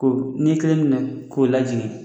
Ko ni ye kelen minɛ k'o lajigi